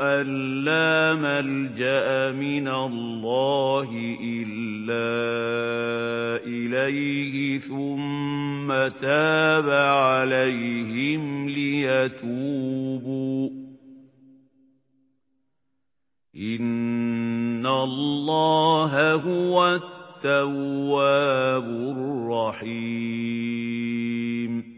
أَن لَّا مَلْجَأَ مِنَ اللَّهِ إِلَّا إِلَيْهِ ثُمَّ تَابَ عَلَيْهِمْ لِيَتُوبُوا ۚ إِنَّ اللَّهَ هُوَ التَّوَّابُ الرَّحِيمُ